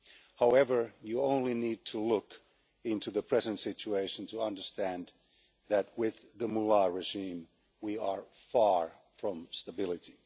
However, you only need to look into the present situation to understand that, with the Mullah regime, we are far from stability.